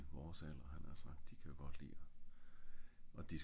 og mænd i vores alder havde jeg nært sagt